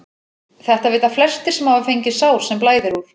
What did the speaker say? Þetta vita flestir sem hafa fengið sár sem blæðir úr.